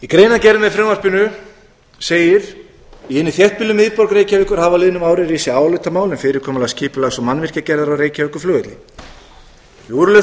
greinargerð með frumvarpinu segir í hinni þéttbýlu miðborg reykjavíkur hafa á liðnum árum risið álitamál um fyrirkomulag skipulags og mannvirkjagerðar á reykjavíkurflugvelli við úrlausn slíkra